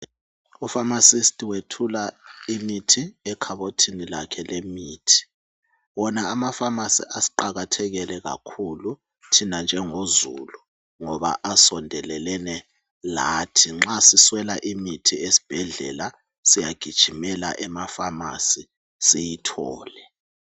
Upharmacist wethula imithi ekhabothini lakhe lemithi. Wona ama pharmacy asiqakathekele kakhulu thina njengozulu ngoba asondelelene lathi nxa siswela imithi esibhedlela siyagijimela ema pharmacy siyithole